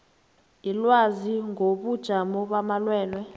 ilwazi ngobujamo bamalwelwe